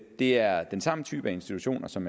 det er den samme type institutioner som